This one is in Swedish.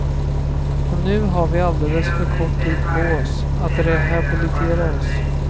Och nu har vi alldeles för kort tid på oss att rehabilitera oss.